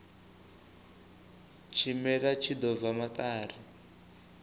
tshimela tshi ḓo bva maṱari